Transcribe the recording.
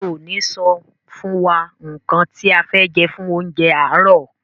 Ṣe o ni sọ fún wa nkán ti a fẹ jẹ fún oúnjẹ aarọ?